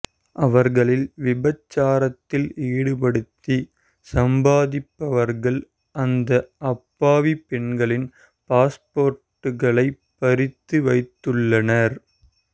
அவர்களை விபச்சாரத்தில் ஈடுபடுத்தி சம்பாதிப்பவர்கள் அந்த அப்பாவி பெண்களின் பாஸ்போர்டுகளைப் பறித்து வைத்துள்ளனர்